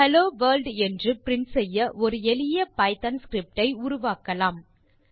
hello world என்று print செய்ய ஒரு எளிய பைத்தோன் ஸ்கிரிப்ட் ஐ உருவாக்கலாம்